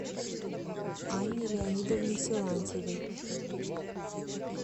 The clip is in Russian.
анне леонидовне силантьевой